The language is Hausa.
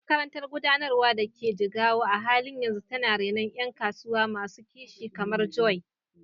Makarantar Gudanarwa da ke Jigawa a halin yanzu tana renon ƴan kasuwa masu kishi kamar Joy.